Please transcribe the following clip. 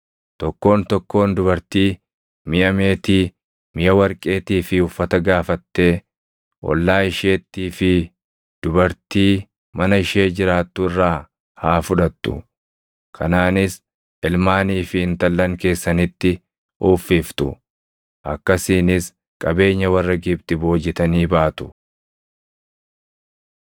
Tokkoon tokkoon dubartii miʼa meetii, miʼa warqeetii fi uffata gaafattee ollaa isheettii fi dubartii mana ishee jiraattu irraa haa fudhattu; kanaanis ilmaanii fi intallan keessanitti uffiftu. Akkasiinis qabeenya warra Gibxi boojitanii baatu.”